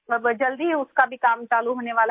अब जल्दी ही उसका भी काम चालू होने वाला है